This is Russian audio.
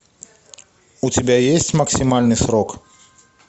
у тебя есть максимальный срок